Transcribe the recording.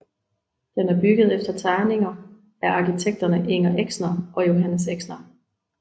Den er bygget efter tegninger af arkitekterne Inger Exner og Johannes Exner